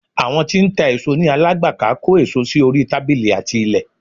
Àwọn tí ń ta èso ní. Alágbàká kó èso sí orí tábílì àti ilẹ̀